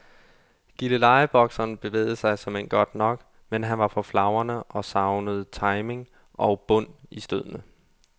Gillelejebokseren bevægede sig såmænd godt nok, men han var for flagrende og savnede timing og bund i stødene.